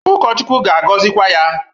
Ụkọchukwu ga-agọzịkwa ya.